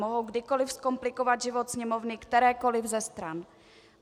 Mohou kdykoliv zkomplikovat život Sněmovny kterékoliv ze stran.